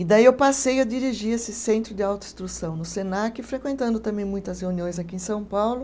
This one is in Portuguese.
E daí eu passei a dirigir esse centro de autoinstrução no Senac, frequentando também muitas reuniões aqui em São Paulo.